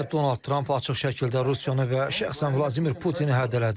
Keçən həftə Donald Tramp açıq şəkildə Rusiyanı və şəxsən Vladimir Putini hədələdi.